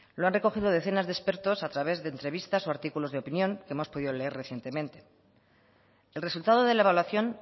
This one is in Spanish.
lo han recogido decenas de expertos a través de entrevistas o artículos de opinión que hemos podido leer recientemente el resultado de la evaluación